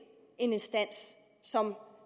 en instans som